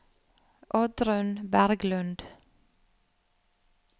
Oddrun Berglund